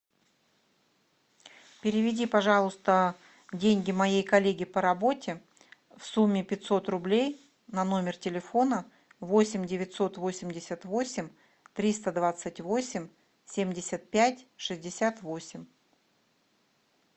переведи пожалуйста деньги моей коллеге по работе в сумме пятьсот рублей на номер телефона восемь девятьсот восемьдесят восемь триста двадцать восемь семьдесят пять шестьдесят восемь